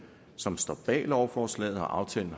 som står bag lovforslaget og aftalen